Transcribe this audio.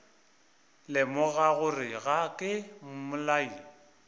lemoga gore ga ke mmolai